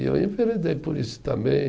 E eu enveredei por isso também.